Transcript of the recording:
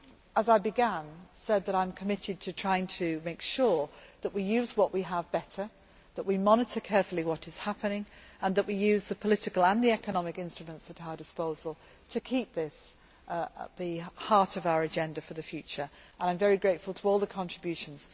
As I began, I said that I am committed to trying to make sure that we use what we have better, that we monitor carefully what is happening and that we use the political and economic instruments at our disposal to keep this at the heart of our agenda for the future, and I am very grateful for all the contributions.